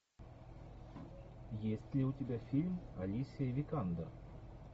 есть ли у тебя фильм алисия викандер